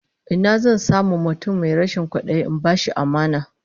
Ina zan samu mutum mai rashin kwadayi in bashi amana?